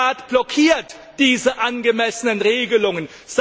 Aber der Rat blockiert diese angemessenen Regelungen.